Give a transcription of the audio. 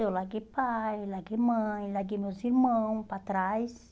Eu larguei pai, larguei mãe, larguei meus irmãos para trás.